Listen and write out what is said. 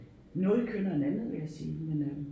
Noget kønnere end andet vil jeg sige men øh